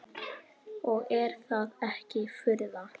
Og er það ekki furða.